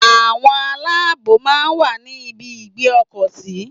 Àwọn aláàbòò máa ń wà ní ibi ìgbé ọkọ̀ sí.